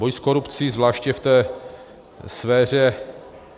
Boj s korupcí zvláště v té sféře...